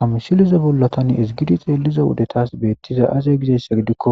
hamisileza bolla tani ezgidi xeeliza wode tas beettiza aze gizayssa gidikko